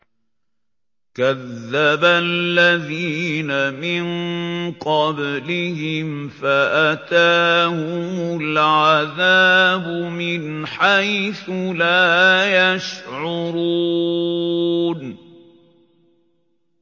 كَذَّبَ الَّذِينَ مِن قَبْلِهِمْ فَأَتَاهُمُ الْعَذَابُ مِنْ حَيْثُ لَا يَشْعُرُونَ